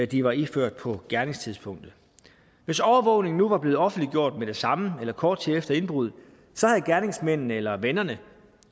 de var iført på gerningstidspunktet hvis overvågningen var blevet offentliggjort med det samme eller kort tid efter indbruddet havde gerningsmændene eller vennerne